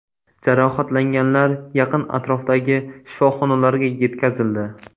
Jarohatlanganlar yaqin atrofdagi shifoxonalarga yetkazildi.